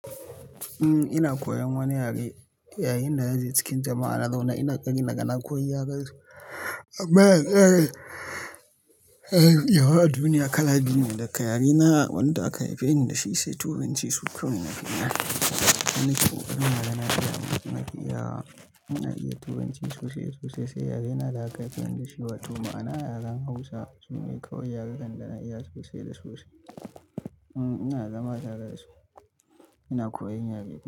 Uhm, ina koyan wani yare yayin da naje cikin jama'a na zauna ina ƙoƙari naga na koyi yarensu. Amma, yawan duniya kala biyu ne, daga yare na wanda aka haife ni da shi sai Turanci su kawai ina birne. Wannan shine ƙarin da yana iya mun, muna iya, muna iya Turanci sosai sosai sai yare na da aka haife ni da shi wato ma'ana yaren Hausa su ne kawai yarukan da na iya sosai da sosai. Uhm, ina zama tare da su, ina koyan yare biyu.